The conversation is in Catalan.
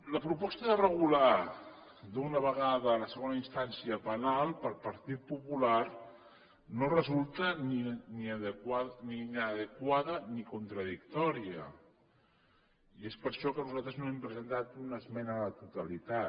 la proposta de regular d’un vegada la segona instància penal per al partit popular no resulta ni inadequada ni contradictòria i és per això que nosaltres no hem presentat una esmena a la totalitat